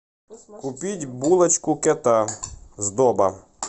купить булочку кета сдоба